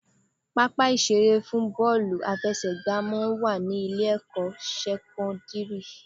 Pápá ìṣeré fún bọ́ọ̀lù àfẹsẹ̀gbà máa ń wà ní Ilé-ẹ̀kọ́ sẹ́kọ́ńdìrì